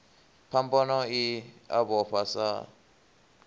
phambano i a vhofha sa